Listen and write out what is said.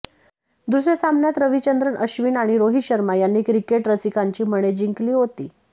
दुसऱ्या सामन्यात रविचंद्रन अश्विन आणि रोहित शर्मा यांनी क्रिकेरसिकांची मने जिंकली होती